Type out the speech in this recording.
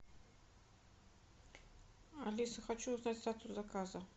алиса хочу узнать статус заказа